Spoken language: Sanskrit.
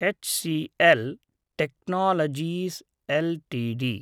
HCL technologies LTD